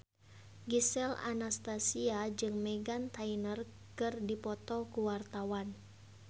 Gisel Anastasia jeung Meghan Trainor keur dipoto ku wartawan